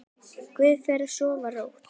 Góða ferð og sofðu rótt.